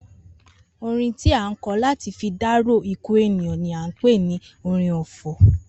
Orin tí a ń ko̩ láti fi dárò ikú èèyan ni à ń pè ni orin ò̩fò̩